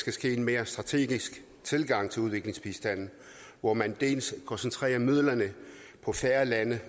skal ske en mere strategisk tilgang til udviklingsbistanden hvor man dels koncentrerer midlerne på færre lande